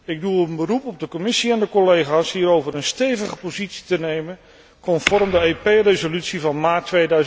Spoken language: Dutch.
Ik doe een beroep op de Commissie en de collega's hierover een stevig standpunt in te nemen, conform de EP resolutie van maart